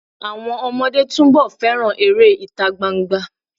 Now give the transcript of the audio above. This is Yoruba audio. Àwọn ọmọdé túnbọ̀ fẹ́ràn eré ìtagbangba.